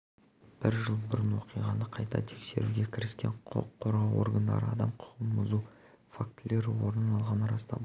бір жыл бұрын болған оқиғаны қайта тексеруге кіріскен құқық қорғау органдары адам құқығын бұзу фактілері орын алғанын растап отыр